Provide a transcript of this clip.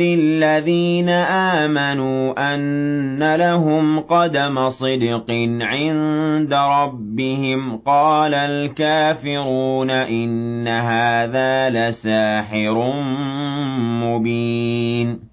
الَّذِينَ آمَنُوا أَنَّ لَهُمْ قَدَمَ صِدْقٍ عِندَ رَبِّهِمْ ۗ قَالَ الْكَافِرُونَ إِنَّ هَٰذَا لَسَاحِرٌ مُّبِينٌ